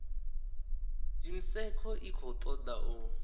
unesco i khou toda u